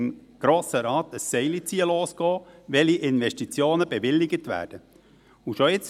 Im Grossen Rat wird nun ein Seilziehen losgehen, welche Investitionen bewilligt werden sollen.